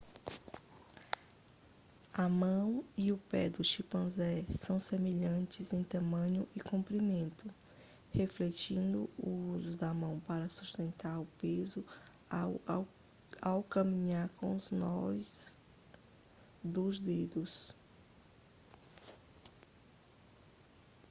a mão e o pé do chimpanzé são semelhantes em tamanho e comprimento refletindo o uso da mão para sustentar o peso ao caminhar com os nós dos dedos